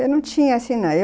Eu não tinha assim